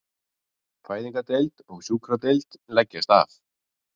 Fæðingardeild og sjúkradeild leggjast af